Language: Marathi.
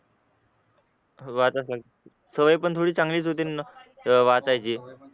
वाटच सवय पण थोडी चांगलीच होते ना अह वाचायची